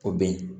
O bɛ ye